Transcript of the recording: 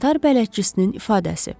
Qatar bələdçisinin ifadəsi.